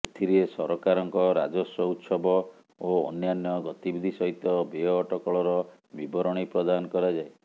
ଏଥିରେ ସରକାରଙ୍କ ରାଜସ୍ବ ଉତ୍ସବ ଓ ଅନ୍ୟାନ୍ୟ ଗତିବିଧି ସହିତ ବ୍ୟୟ ଅଟକଳର ବିବରଣୀ ପ୍ରଦାନ କରାଯାଏ